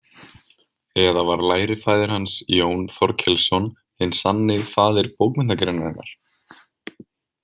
Eða var lærifaðir hans Jón Þorkelsson hinn sanni faðir bókmenntagreinarinnar?